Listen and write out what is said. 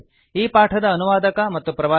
ಈ ಪಾಠದ ಅನುವಾದಕ ಮತ್ತು ಪ್ರವಾಚಕ ಐ